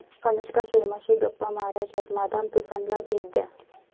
अनुष्का शर्माशी गप्पा मारायच्यात? मादाम तुसाँला भेट द्या